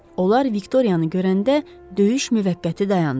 Onlar Viktoriyanı görəndə döyüş müvəqqəti dayandı.